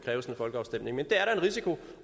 folkeafstemning men der er der en risiko